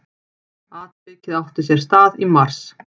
Atvikið átti sér stað í mars